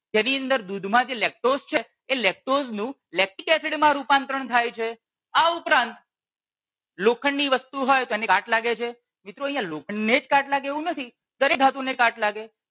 જેની અંદર દૂધ માં જે lactose છે એનું lactic acid માં રૂપાંતરણ થાય છે આ ઉપરાંત લોખંડ ની વસ્તુ હોય અને કાટ લાગે છે. મિત્રો અહિયાં લોખંડ ને જ કાટ લાગે એવું નથી દરેક ધાતુ ને કાટ લાગે.